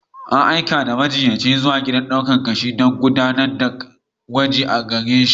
An aika da majiyyaci zuwa gidan dukan ƙashi don gudanar da gwaji a gare shi.